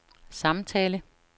samtale